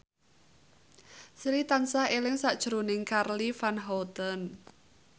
Sri tansah eling sakjroning Charly Van Houten